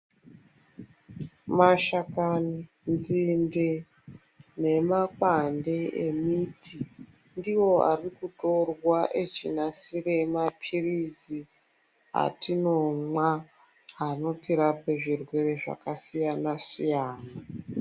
Mashakani, nzinde nemakwande emiti ndiwo arikutorwa echinasire maphirizi atinomwa anotirape zvirwere zvakasiyana siyana.